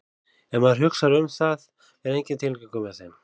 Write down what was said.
Ef maður hugsar um það er enginn tilgangur með þeim.